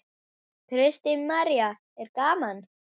Kristín María: Er gaman?